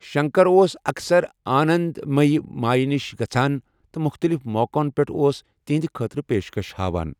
شنکر اوس اکثر آنند میی مایہ نِش گژھان تہٕ مختلِف موقعن پٮ۪ٹھ اوس تہنٛدِ خٲطرٕپیشكش ہاوان ۔